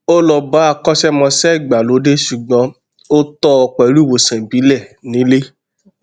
ó lọ bá akọṣẹmọṣẹ ìgbàlódé ṣùgbọn ó tọ ọ pẹlú ìwòsàn ìbílẹ nílé